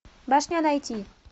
башня найти